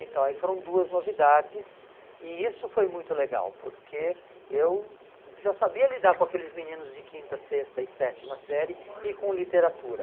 Então aí foram duas novidades e isso foi muito legal, porque eu já sabia lidar com aqueles meninos de quinta, sexta e sétima série e com literatura.